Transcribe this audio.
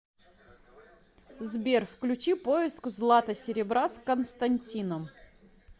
сбер включи поиск злата серебра с константином